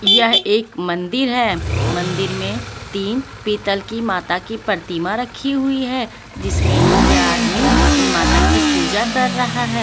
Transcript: यह एक मंदिर है मंदिर में तीन पीतल की माता की प्रतिमा रखी हुई है जिसमें कि यह आदमी उन माता की पूजा कर रहा है.